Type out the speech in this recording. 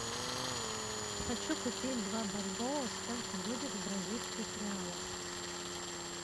хочу купить два бальбоа сколько будет в бразильских реалах